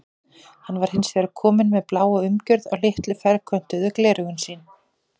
Hann var hins vegar kominn með bláa umgjörð á litlu ferköntuðu gleraugun sín.